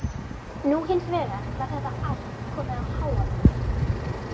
Nú hins vegar var þetta allt komið í háaloft.